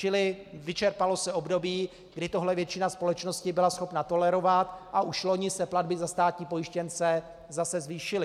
Čili vyčerpalo se období, kdy tohle většina společnosti byla schopna tolerovat, a už loni se platby za státní pojištěnce zase zvýšily.